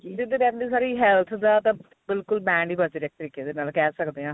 with health ਦਾ ਤਾਂ ਬਿਲਕੁਲ band ਹੀ ਵੱਜ ਰਿਹਾ ਇਸ ਤਰੀਕੇ ਦੇ ਨਾਲ ਕਹਿ ਸਕਦੇ ਆ